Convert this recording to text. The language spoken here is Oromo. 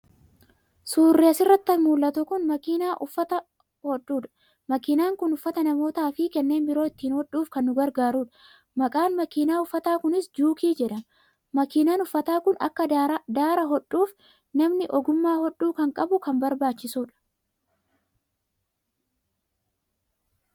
Suurri asirratti mul'atu kun makiinaa uffata hodhudha. Makiinaan kun uffata namootaa fi kanneen biroo ittiin hodhuuf kan nu gargaarudha. Maqaan makiinaa uffataa kunis Juukii jedhama. Makiinaan uffataa kun akka daara hodhuuf namni ogummaa hodhuu kan qabu kan barbaachisudha.